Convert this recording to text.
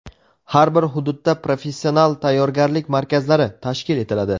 Har bir hududda "Professional tayyorgarlik markazlari" tashkil etiladi.